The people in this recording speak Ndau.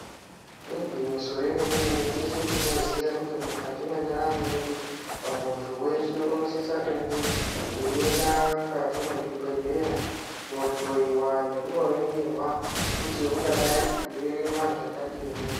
Igwinyiso remene-mene teshe tinoziya kuti mukati mwendaramo yedu muntu weshe tinosisa kunge ainda mukati mezvibhedhlera kunohloyiwa nekuno ongororwa kuti angadai achirema zvakadini.